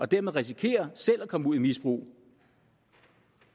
dermed risikerer selv at komme ud i et misbrug